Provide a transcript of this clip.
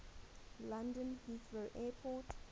london heathrow airport